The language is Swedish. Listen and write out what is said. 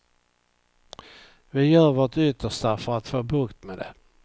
Vi gör vårt yttersta för att få bukt med det.